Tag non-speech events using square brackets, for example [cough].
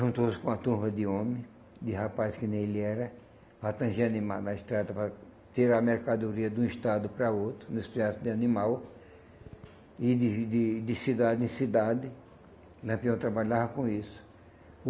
juntou-se com uma turma de homens, de rapazes que nem ele era, [unintelligible] na estrada para tirar a mercadoria de um estado para outro, [unintelligible] de animal, e de de de cidade em cidade, Lampião trabalhava com isso.